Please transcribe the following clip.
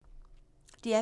DR P2